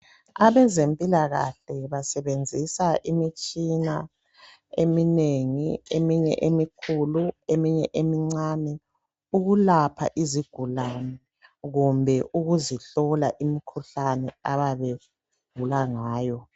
Abezempilakahle besebenzisa imitshina eminengi emikhulu lemincane ukuhlola lokwelapha izigulane imikhuhlane abayabe begula ngayo.